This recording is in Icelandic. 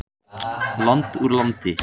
Land úr landi.